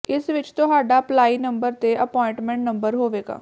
ਇਸ ਵਿਚ ਤੁਹਾਡਾ ਅਪਲਾਈ ਨੰਬਰ ਤੇ ਅਪੁਆਇੰਟਮੈਂਟ ਨੰਬਰ ਹੋਵੇਗਾ